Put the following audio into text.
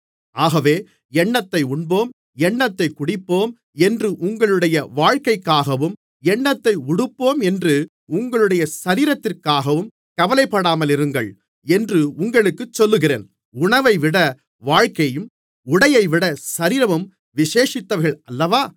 ஆகவே என்னத்தை உண்போம் என்னத்தைக் குடிப்போம் என்று உங்களுடைய வாழ்க்கைக்காகவும் என்னத்தை உடுப்போம் என்று உங்களுடைய சரீரத்திற்காகவும் கவலைப்படாமலிருங்கள் என்று உங்களுக்குச் சொல்லுகிறேன் உணவைவிட வாழ்க்கையும் உடையைவிட சரீரமும் விசேஷித்தவைகள் அல்லவா